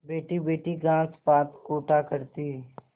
बैठीबैठी घास पात कूटा करती